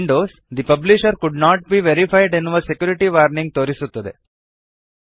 Windows the publisher could not be verified ಎನ್ನುವ security warning ತೋರಿಸುತ್ತದೆ